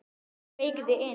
Þegar ég beygði inn